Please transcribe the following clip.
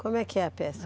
Como é que é a pesca?